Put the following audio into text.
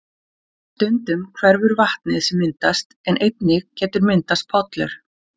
Stundum hverfur vatnið sem myndast en einnig getur myndast pollur.